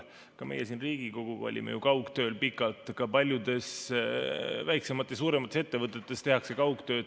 Ka meie siin Riigikogus olime pikalt kaugtööl, paljudes väiksemates ja suuremates ettevõtetes tehakse kaugtööd.